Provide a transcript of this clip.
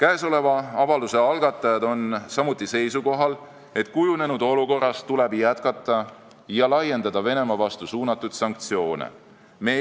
Avalduse algatajad on samuti seisukohal, et kujunenud olukorras tuleb jätkata Venemaa vastu suunatud sanktsioonide rakendamist ja neid laiendada.